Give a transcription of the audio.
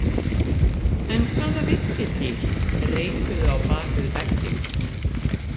En hvaða villidýr reikuðu á bak við vegginn?